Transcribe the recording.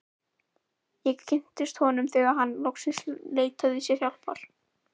Ég kynntist honum þegar hann loksins leitaði sér hjálpar.